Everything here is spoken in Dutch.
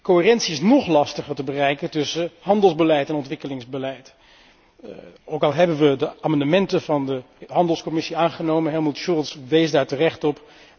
Coherentie is nóg lastiger te bereiken tussen handelsbeleid en ontwikkelingsbeleid, ook al hebben we de amendementen van de handelscommissie aangenomen Helmut Scholz wees daar terecht op.